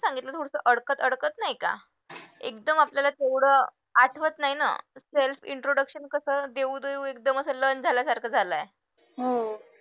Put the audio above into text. कसं सांगितलं तू उलट अडकत अडकत नाही का एकदम आपल्याला थोडं आठवत नाही ना self introduction कसं देऊ एकदम असं learn झाल्यासारखं झालंय